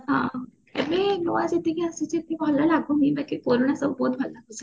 ହଁ ଏବେ ନୂଆ ଯେତିକି ଆସିଛି ଭଲ ଲାଗୁନି ବାକି ପୁରୁଣା ସବୁ ବହୁତ ଭଲ ଲାଗୁଛି